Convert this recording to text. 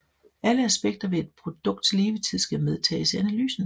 Alle aspekter ved et produkts levetid skal medtages i analysen